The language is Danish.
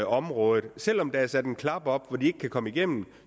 området selv om der er sat en klap op så de ikke kan komme igennem